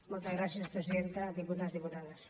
moltes gràcies presidenta diputats diputades